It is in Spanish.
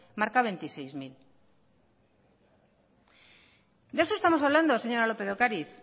marca veintiséis mil de eso estamos hablando señora lópez de ocariz